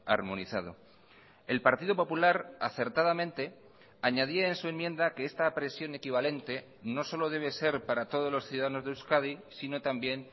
armonizado el partido popular acertadamente añadía en su enmienda que esta presión equivalente no solo debe ser para todos los ciudadanos de euskadi sino también